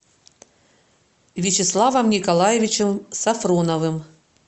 вячеславом николаевичем сафроновым